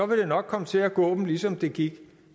vil det nok komme til at gå dem ligesom det gik